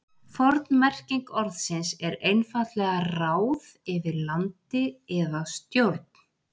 Forn merking orðsins er einfaldlega ráð yfir landi eða stjórn.